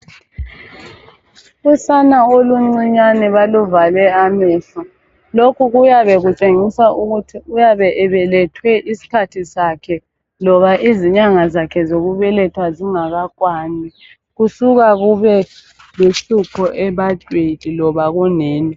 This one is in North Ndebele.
Usana oluncinyane baluvale amehlo lokhu kuyabe kutshengisa ukuthi uyabe ebelethwe isikhathi sakhe loba izinyanga zakhe zokubelethwa zingakakwani. Kusuka kubeluhlupho ebantwini loba kunina.